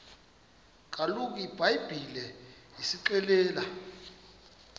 kaloku ibhayibhile isixelela